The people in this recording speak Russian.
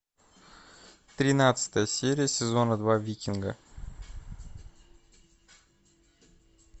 тринадцатая серия сезона два викинга